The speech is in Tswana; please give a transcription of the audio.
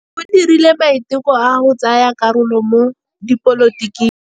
O dirile maitekô a go tsaya karolo mo dipolotiking.